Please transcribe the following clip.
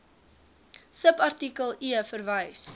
subartikel e verwys